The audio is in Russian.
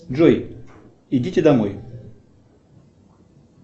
джой идите домой